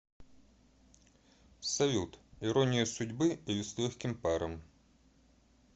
салют ирония судьбы или с легким паром